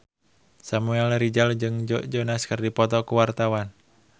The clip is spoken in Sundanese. Samuel Rizal jeung Joe Jonas keur dipoto ku wartawan